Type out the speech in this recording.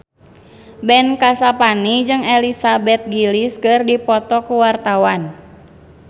Ben Kasyafani jeung Elizabeth Gillies keur dipoto ku wartawan